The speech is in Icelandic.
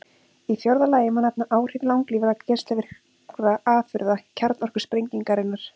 Í fjórða lagi má nefna áhrif langlífra geislavirkra afurða kjarnorkusprengingarinnar.